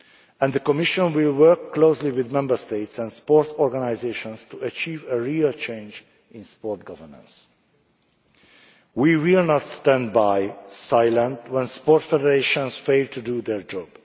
At the Commission, we work closely with Member States and sports organisations to achieve a real change in sport governance. We will not stand by silently when sports federations fail to do their job.